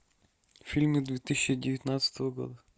фильмы две тысячи девятнадцатого года